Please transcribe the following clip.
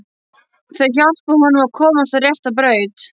Þau hjálpuðu honum að komast á rétta braut.